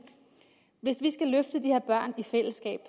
hvis vi skal løfte de her børn i fællesskab